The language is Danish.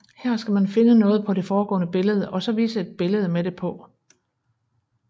Her skal man finde noget på det foregående billede og så vise et billede med det på